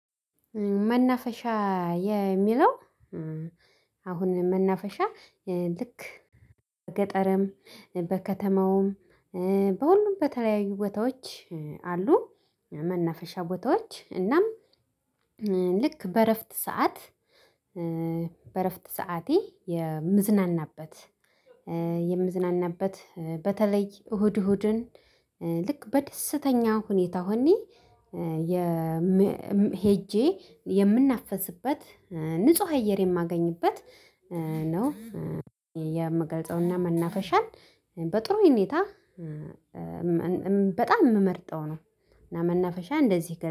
መናፈሻ የሚለው አሁን መናፈሻ ልክ በገጠርም በከተማውም በሁሉም በተለያዩ ቦታዎች አሉ መነፈሻ ቦታዎች እናም ልክ በእረፍት ሰዓት በእረፍት ሰዓቴ የምዝናናበት የምዝናናበት በተለይ እሁድ እሁድን ልክ በደስተኛ ሁኔታ ሆኜ ሄጄ የምናፈስበት ንጹህ አየር የማገኝበት ነው የመገልጸውና መናፈሻን በጥሩ ሁኔታ በጣም የምመርጠው ነው። እና መናፈሻ እንደዚህ